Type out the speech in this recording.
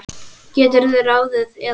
geturðu ráðið, eða hvað?